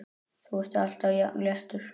Þú ert alltaf jafn léttur!